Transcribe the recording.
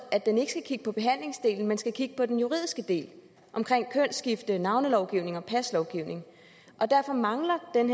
at den ikke skal kigge på behandlingsdelen men skal kigge på den juridiske del omkring kønsskifte navnelovgivning og paslovgivning derfor mangler den